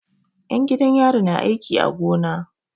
'Yan gidan yari na aiki a gona.